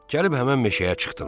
Gəlib həmin meşəyə çıxdılar.